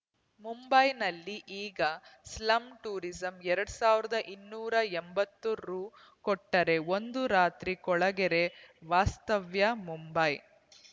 ಮುಂಬೈನಲ್ಲಿ ಈಗ slum tourism ಎರಡ್ ಸಾವಿರದ ಇನ್ನೂರ ಎಂಬತ್ತು ರು ಕೊಟ್ಟರೆ ಒಂದು ರಾತ್ರಿ ಕೊಳಗೇರಿ ವಾಸ್ತವ್ಯ ಮುಂಬೈ